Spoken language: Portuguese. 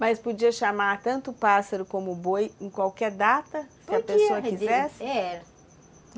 Mas podia chamar tanto o pássaro como o boi em qualquer data, se a pessoa quisesse? Era